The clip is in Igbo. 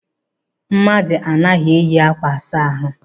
Mmadụ anaghị eyi ákwà asa ahụ.